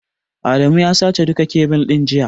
Adamu ya sace duka kebil ɗin jiya.